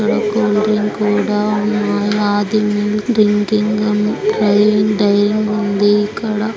ఆది milk drinking అని dying ఉంది ఇక్కడ.